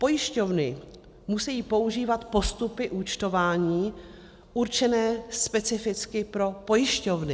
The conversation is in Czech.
Pojišťovny musejí používat postupy účtování určené specificky pro pojišťovny.